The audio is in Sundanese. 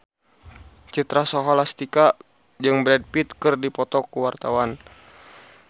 Citra Scholastika jeung Brad Pitt keur dipoto ku wartawan